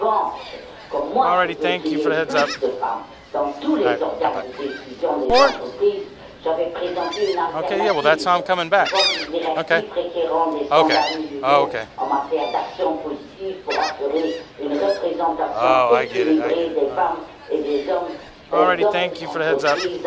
En revanche, comme je veux qu'il y ait plus de femmes dans tous les organes de décision des entreprises, j'avais présenté une alternative sous la forme d'une directive fixant des normes minimales en matière d'action positive pour assurer une représentation équilibrée des femmes et des hommes dans les entreprises.